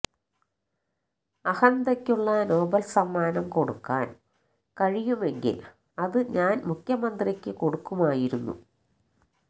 അഹന്തയ്ക്കുള്ള Nobel സമ്മാനം കൊടുക്കാന് കഴിയുമെങ്കില് അത് ഞാന് മുഖ്യമന്ത്രിക്ക് കൊടുക്കുമായിരുന്നു